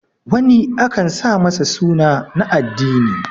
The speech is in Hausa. wani akan sa masa suna na addini